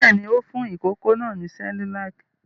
Bẹ́ẹ̀ ni, ó fún ìkókó náà ní Cerelac.